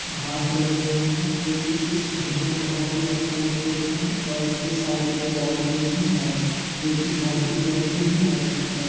घासं लगे हुए हैं जोकि इस घर को बहुत ही अच्छा लुक देता है और इसके साइड एक बौंडरी भी है जो कि घर की कलर से ही मैच करता है।